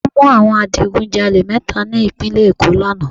Wọ́n mú àwọn adigun jalè mẹ́ta ní ìpínlẹ̀ Èkó lánàá